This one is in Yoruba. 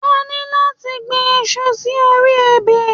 À ní láti gbi iṣu sí orí ebè